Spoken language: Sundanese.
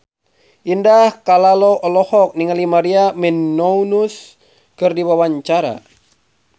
Indah Kalalo olohok ningali Maria Menounos keur diwawancara